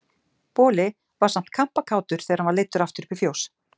Boli var samt kampakátur þegar hann var leiddur aftur upp í fjós.